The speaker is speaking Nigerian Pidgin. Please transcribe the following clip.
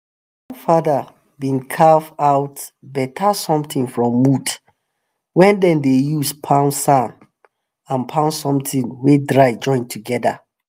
my grandfather bin carve out better somtin from wood wey dem dey use pound sand and pound somtin wey dry join together.